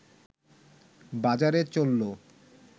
বাজারে চলল